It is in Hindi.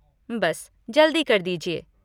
बस, जल्दी कर दीजिए।